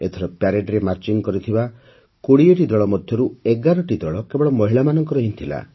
ଏଥର ପରେଡ୍ରେ ମାର୍ଚ୍ଚିଂ କରିଥିବା ୨୦ଟି ଦଳ ମଧ୍ୟରୁ ୧୧ଟି ଦଳ କେବଳ ମହିଳାମାନଙ୍କର ହିଁ ଥିଲା